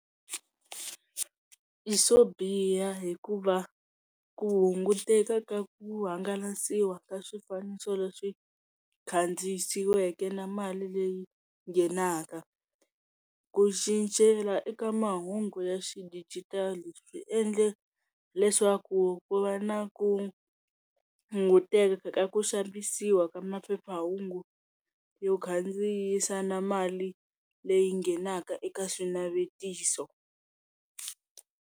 I swo biha hikuva ku hunguteka ka ku hangalasiwa ka swifaniso leswi kandziyisiweke na mali leyi nghenaka. ku cincela eka mahungu ya xidijitali swi endla leswaku ku va na ku hunguteka ka ku xavisiwa ka maphephahungu yo kandziyisa na mali leyi nghenaka eka swinavetiso.